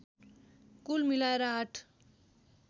कुल मिलाएर आठ